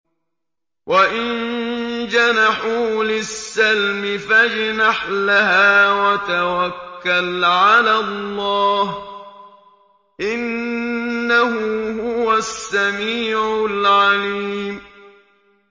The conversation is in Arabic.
۞ وَإِن جَنَحُوا لِلسَّلْمِ فَاجْنَحْ لَهَا وَتَوَكَّلْ عَلَى اللَّهِ ۚ إِنَّهُ هُوَ السَّمِيعُ الْعَلِيمُ